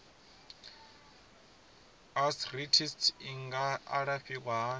arthritis i nga alafhiwa hani